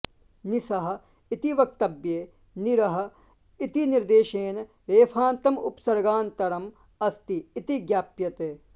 निसः इति वक्तव्ये निरः इति निर्देशेन रेफान्तम् उपसर्गान्तरम् अस्ति इति ज्ञाप्यते